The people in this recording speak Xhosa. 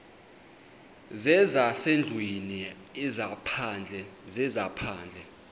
zezasendlwini ezaphandle zezaphandle